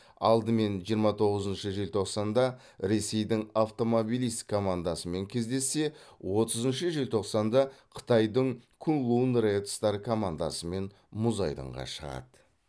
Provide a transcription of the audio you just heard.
алдымен жиырма тоғызыншы желтоқсанда ресейдің автомобилист командасымен кездессе отызыншы желтоқсанда қытайдың куньлунь ред стар командасымен мұз айдынға шығады